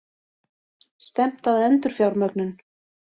Stefnt að endurfjármögnun